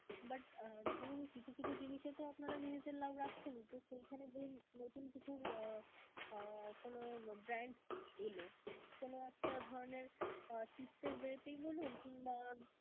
but আহ ধরুন কিছু কিছু জিনিসে তো আপনারা নিজেদের লাভ রাখছেনই, তো সেইখানে ধরুন নতুন কিছু আহ কোন brand এলো কোন একটা ধরণের chips এর way তেই বলুন কিংবা